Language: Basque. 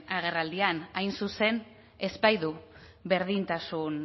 agerraldian hain zuzen ez baitu berdintasun